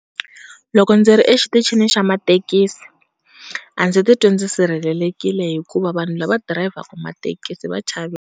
Loko ndzi ri exitichini xa mathekisi a ndzi ti twi dzi sirhelelekile hikuva vanhu lava dirayivhaku mathekisi va chaveki .